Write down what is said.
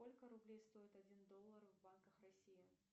сколько рублей стоит один доллар в банках россии